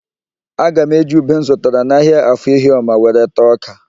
Aga m eji ube m zụtara n'ahịa Afọ Ihioma were taa ọ́kà.